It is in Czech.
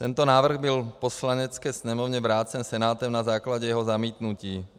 Tento návrh byl Poslanecké sněmovně vrácen Senátem na základě jeho zamítnutí.